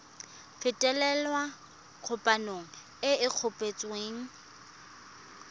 fetolela kgwebo e e kopetswengcc